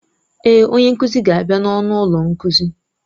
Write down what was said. Èé, onye nkuzi ga-abịa n'ọnụ ụlọ nkuzi.